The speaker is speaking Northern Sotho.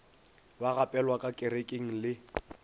ba gapelwa ka kerekeng le